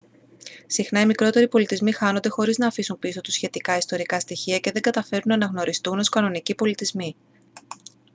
συχνά οι μικρότεροι πολιτισμοί χάνονται χωρίς να αφήσουν πίσω τους σχετικά ιστορικά στοιχεία και δεν καταφέρνουν να αναγνωριστούν ως κανονικοί πολιτισμοί